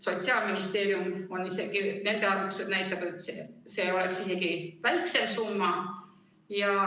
Sotsiaalministeeriumi arvutused näitavad, et see oleks isegi väiksem summa.